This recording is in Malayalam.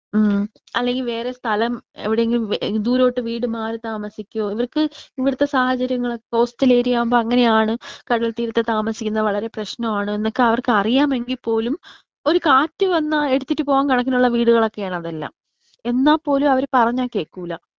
ഉം അല്ലെങ്കി വേറെ സ്ഥലം എവിടെയെങ്കിലും ദൂരോട്ട് വീട് മാറി താമസിക്കോ ഇവർക്ക് ഇവിടുത്തെ സാഹചര്യങ്ങളൊക്കെ കോസ്റ്റൽ ഏരിയ ആവുമ്പോ അങ്ങനെയാണ്. കടൽത്തീരത്ത് താമസിക്കുന്നത് വളരെ പ്രശ്നമാണ്. എന്നൊക്കെ അവർക്ക് അറിയാമെങ്കി പോലും ഒരു കാറ്റ് വന്ന എടുത്തിട്ട് പോകാൻ പറ്റുന്ന വീടുകളൊക്കെയാണ് ഇതെല്ലാം. എന്നാ പോലും അവര് പറഞ്ഞാ കേക്കൂല.